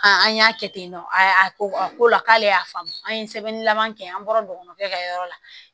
an y'a kɛ ten tɔ a ko a ko la k'ale y'a faamu an ye sɛbɛnnilama kɛ an bɔra nkɔbɔninw bɛɛ ka yɔrɔ la